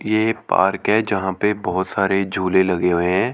ये एक पार्क है यहां पे बहुत सारे झूले लगे हुए हैं।